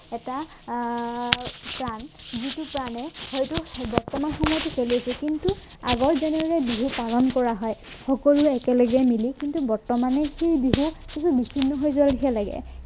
এটা আহ প্ৰাণ যিটো প্ৰাণে হয়তো বৰ্তমান সময়তো চলি আছে কিন্তু আগত যেনেকে বিহু পালন কৰা হয় সকলোৱে একেলগে মিলি কিন্তু বৰ্তমানে সেই বিহু আজি বিছিন্ন হৈ যোৱা নিচিনা লাগে